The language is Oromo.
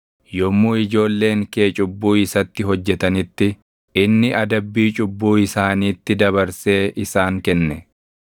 Yommuu ijoolleen kee cubbuu isatti hojjetanitti, inni adabbii cubbuu isaaniitti dabarsee isaan kenne.